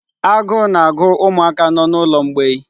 Agụụ na-agụ ụmụaka nọ n'ụlọ mgbei.